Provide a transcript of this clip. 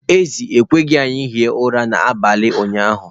Ezi ekweghị ka anyị hie ụra n’abalị ụnyahụ